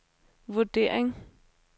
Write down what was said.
vurdering